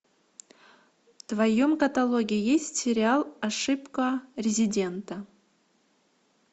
в твоем каталоге есть сериал ошибка резидента